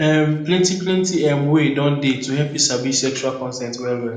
um plenty plenty um way don dey to help you sabi sexual consent well well